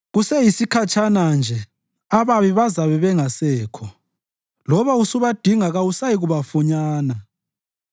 Kuseyisikhatshana nje, ababi bazabe bengasekho; loba usubadinga kabasayikufunyanwa.